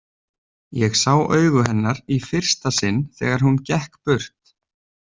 Ég sá augu hennar í fyrsta sinn þegar hún gekk burt.